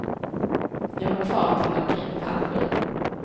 Jag var kvar till omkring halv sju.